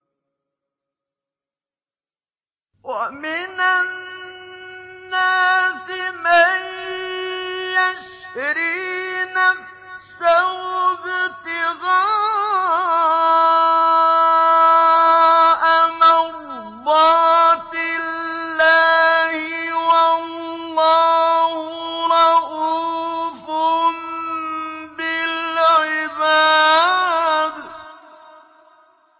وَمِنَ النَّاسِ مَن يَشْرِي نَفْسَهُ ابْتِغَاءَ مَرْضَاتِ اللَّهِ ۗ وَاللَّهُ رَءُوفٌ بِالْعِبَادِ